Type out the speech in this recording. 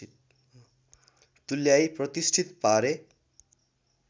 तुल्याई प्रतिष्ठित पारे